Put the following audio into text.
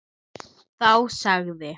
Þá sagði